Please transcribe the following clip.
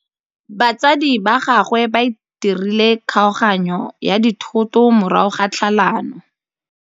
Batsadi ba gagwe ba dirile kgaoganyô ya dithoto morago ga tlhalanô.